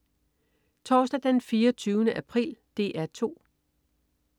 Torsdag den 24. april - DR 2: